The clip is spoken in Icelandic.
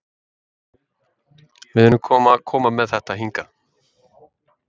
Við erum að koma með þetta hingað?